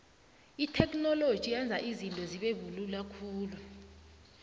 itheknoloji yenza izinto zibelula khulu